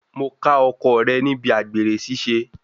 Mo ká ọkọ rẹ̀ níbi àgbèrè ṣiṣẹ́.